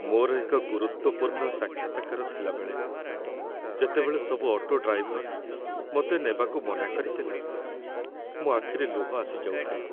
ମୋର ଏକ ଗୁରୁତ୍ୱପୂର୍ଣ୍ଣ ସାକ୍ଷାତକାର ଥିଲାବେଳେ, ଯେତେବେଳେ ସବୁ ଅଟୋ ଡ୍ରାଇଭର ମୋତେ ନେବାକୁ ମନା କରିଦେଲେ ମୋ ଆଖିରେ ଲୁହ ଆସି ଯାଉଥିଲା।